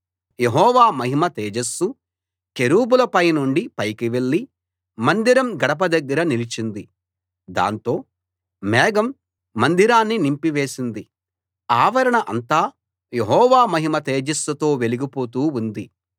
యెహోవా మహిమ తేజస్సు కెరూబుల పైనుండి పైకి వెళ్ళి మందిరం గడప దగ్గర నిలిచింది దాంతో మేఘం మందిరాన్ని నింపివేసింది ఆవరణ అంతా యెహోవా మహిమ తేజస్సుతో వెలిగి పోతూ ఉంది